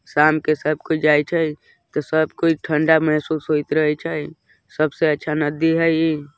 शाम के सब कोई जाइछे सब कोई ठंडा महसूस होइत रहई छय सब से अच्छा नदी हैय इ --